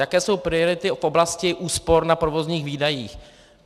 Jaké jsou priority v oblasti úspor na provozních výdajích?